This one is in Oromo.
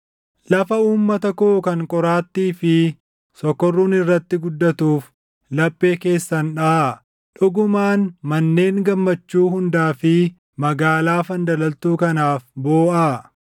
lafa uummata koo kan qoraattii fi sokorruun irratti guddatuuf laphee keessan dhaʼaa; dhugumaan manneen gammachuu hundaa fi magaalaa fandalaltuu kanaaf booʼaa.